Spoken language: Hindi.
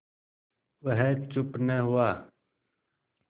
वह चुप न हुआ